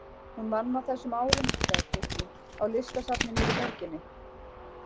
Hún vann á þessum árum sagði Kristín, á listasafni niðri í borginni.